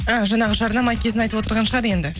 і жаңағы жарнама кезін айтып отырған шығар енді